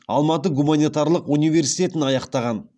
алматы гуманитарлық университетін аяқтаған